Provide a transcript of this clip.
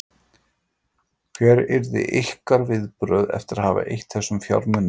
Hver yrðu ykkar viðbrögð eftir að hafa eytt þessum fjármunum í þetta?